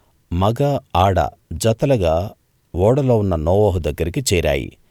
మగ ఆడ జతలుగా ఓడలో ఉన్న నోవహు దగ్గరికి చేరాయి